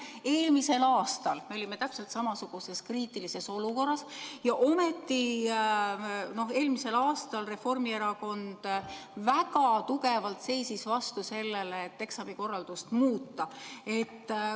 Eelmisel aastal me olime täpselt samasuguses kriitilises olukorras ja ometi eelmisel aastal Reformierakond väga tugevalt seisis vastu sellele, et eksamikorraldust muuta.